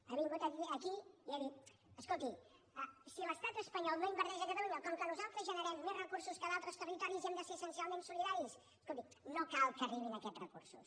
ha vingut aquí i ha dit escolti si l’estat espanyol no inverteix a catalunya com que nosaltres generem més recursos que a d’altres territoris i hem de ser essencialment solidaris escolti no cal que arribin aquests recursos